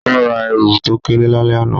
O ra èwù to kéré lálẹ́ àná